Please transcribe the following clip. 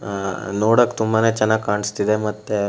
ಆ ನೋಡಕ್ ತುಂಬಾನೇ ಚೆನ್ನಾಗಿ ಕಾಣಿಸ್ತಿದೆ ಮತ್ತೆ --